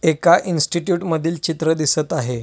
एका इंस्टीट्यूट मधील चित्र दिसत आहे.